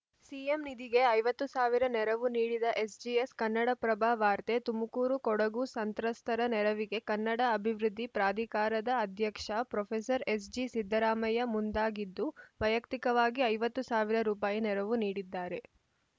CM ನಿಧಿಗೆ ಐವತ್ತು ಸಾವಿರ ನೆರವು ನೀಡಿದ ಎಸ್‌ಜಿಎಸ್‌ ಕನ್ನಡಪ್ರಭ ವಾರ್ತೆ ತುಮಕೂರು ಕೊಡಗು ಸಂತ್ರಸ್ತರ ನೆರವಿಗೆ ಕನ್ನಡ ಅಭಿವೃದ್ಧಿ ಪ್ರಾಧಿಕಾರದ ಅಧ್ಯಕ್ಷ ಪ್ರೊಫೆಸರ್ ಎಸ್‌ಜಿ ಸಿದ್ದರಾಮಯ್ಯ ಮುಂದಾಗಿದ್ದು ವೈಯಕ್ತಿಕವಾಗಿ ಐವತ್ತು ಸಾವಿರ ರುಪಾಯಿ ನೆರವು ನೀಡಿದ್ದಾರೆ